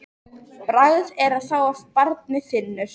Bragð er að þá barnið finnur!